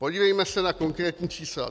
Podívejme se na konkrétní čísla.